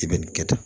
I bɛ nin kɛ tan